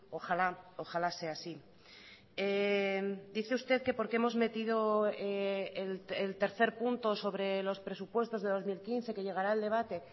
ojalá ojalá sea así dice usted que por qué hemos metido el tercer punto sobre los presupuestos de dos mil quince que llegará el debate